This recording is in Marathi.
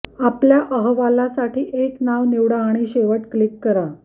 आपल्या अहवालासाठी एक नाव निवडा आणि शेवट क्लिक करा